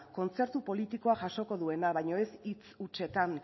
kontzertu politikoa jasoko duena baina ez hitz hutsetan